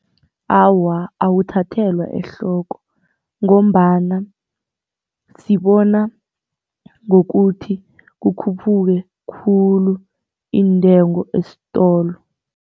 Awa, awuthathelwa ehloko ngombana sibona ngokuthi kukhuphuke khulu iintengo esitolo.